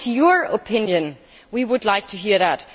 What is your opinion? We would like to hear that.